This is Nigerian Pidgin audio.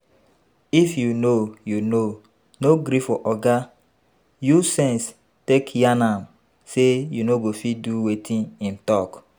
if you no if you no gree for oga, use sense take yarn am sey you no go fit do wetin im talk